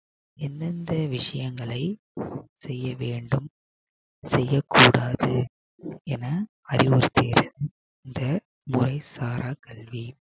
எந்தெந்த விஷயங்களை செய்ய வேண்டும் செய்யக்கூடாது என அறிவுறுத்துகிறது இந்த மொழி சாரா கல்வி